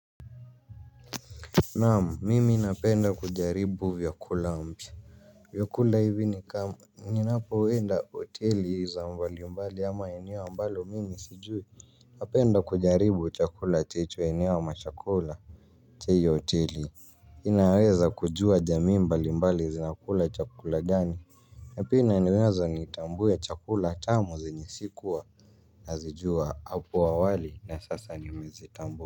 Naam mimi napenda kujaribu vyakula mpya. Vyakula hivi ni kama ninapoenda hoteli za mbali mbali ama eneo ambalo mimi sijui. Napenda kujaribu chakula checho eneo ama chakula cha hiyo hoteli. Inaweza kujua jamii mbalimbali zinakula chakula gani na pia inaniweza nitambue chakula tamu zenye sikuwa nazijua hapo awali na sasa nimezitambua.